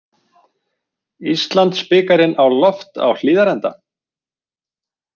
Íslandsbikarinn á loft á Hlíðarenda